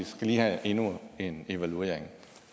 skal lige have endnu en evaluering